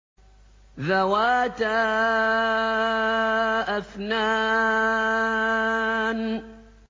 ذَوَاتَا أَفْنَانٍ